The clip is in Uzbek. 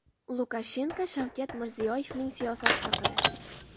Lukashenko Shavkat Mirziyoyevning siyosati haqida.